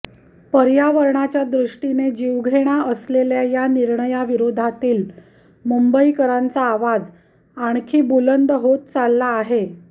पर्यावरणाच्या दृष्टीने जीवघेणा असलेल्या या निर्णयाविरोधातील मुंबईकरांचा आवाज आणखी बुलंद होत चालला आहे